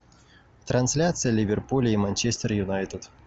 трансляция ливерпуля и манчестер юнайтед